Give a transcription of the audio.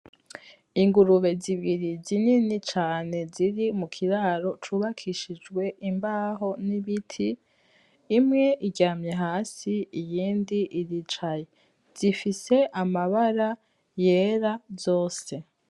Ingurube zibiri zinini cane ziri mu kiraro cubakishijwe imbaho n'ibiti imwe iryamye hasi iyindi iricaye zifise mabara yera zose.